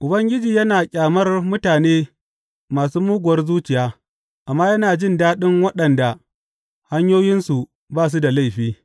Ubangiji yana ƙyamar mutane masu muguwar zuciya amma yana jin daɗin waɗanda hanyoyinsu ba su da laifi.